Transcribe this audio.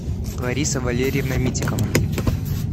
лариса валерьевна митикова